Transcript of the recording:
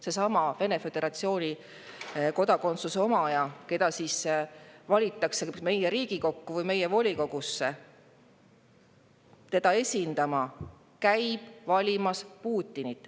Seesama Vene föderatsiooni kodakondsuse omaja, keda valitakse meie Riigikokku või volikogusse, käib valimas Putinit.